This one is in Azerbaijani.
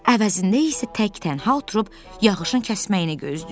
Əvəzində isə tək-tənha oturub yağışın kəsməyini gözləyirəm.